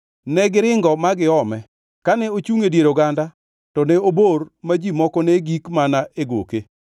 Negiringo ma giome, kane ochungʼ e dier oganda to ne obor ma ji moko ne gik mana e goke.